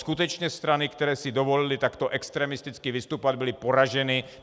Skutečně strany, které si dovolily takto extremisticky vystupovat, byly poraženy.